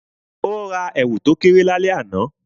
O ra èwù to kéré lálẹ́ àná